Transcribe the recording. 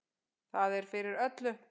Það er fyrir öllu.